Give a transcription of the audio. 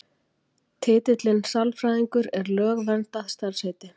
Titillinn sálfræðingur er lögverndað starfsheiti.